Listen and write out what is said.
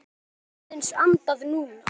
Við getum aðeins andað núna.